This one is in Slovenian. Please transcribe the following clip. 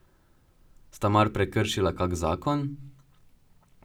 Sta mar prekršila kak zakon?